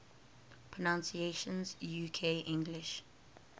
pronunciations uk english